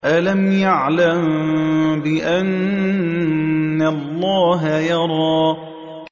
أَلَمْ يَعْلَم بِأَنَّ اللَّهَ يَرَىٰ